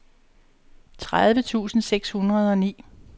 tredive tusind seks hundrede og ni